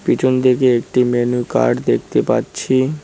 পিছন দিকে একটি মেনু কার্ড দেখতে পাচ্ছি।